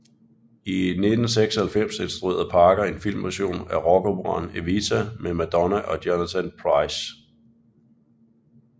I 1996 instruerede Parker en filmversion af rockoperaen Evita med Madonna og Jonathan Pryce